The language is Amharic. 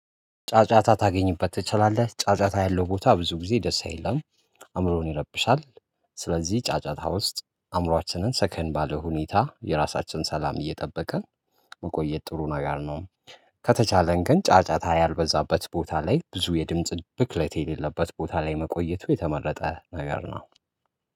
ጫጫታ ታገኝበት ትችላለች ጫጫታ ያለው ቦታ ብዙ ጊዜ ደስ አይለኝም አእምሮን ይረብሻል። ስለዚህ ጫጫታ ውስጥ አእምሮአችንን ሰከን ባለ ሁኔታ የራሳችን ሰላም እየጠበቀ መቆየት ጥሩ ነው። ነገር ነው። ከተቻለን ግን ጫጫታ ያልበዛበት ቦታ ላይ ብዙ የድምጽ ብክለት የሌለበት ቦታ ላይ መቆየቱ የተመረጠ ነገር ነው።